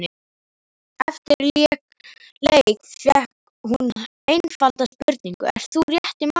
Eftir leik fékk hann einfalda spurningu, ert þú rétti maðurinn?